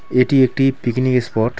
এটি একটি picnic spot.